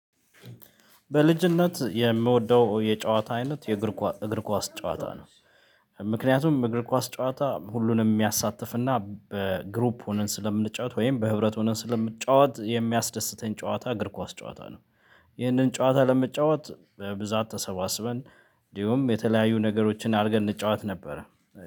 በልጅነት የምወደው የጨዋታ አይነት የእግር እግር ኳስ ጨዋታ ነው። ምክንያቱም እግር ኳስ ጨዋታ ሁሉንም የሚያሳትፍና በግሩፕ ሆነን ስለምንጫወት ወይም በህብረት ሆነን ስለምንጫወት የሚያስደስተኝ ጨዋታ እግር ኳስ ጨዋታ ነው። ይህንን ጨዋታ ለመጫወት በብዛት ተሰባስበን እንዲሁም የተለያዩ ነገሮችን አድርገን እንጫወት ነበረ